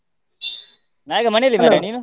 ನಾನ್ ಈಗ ಮನೆಯಲ್ಲಿ ನೀನು?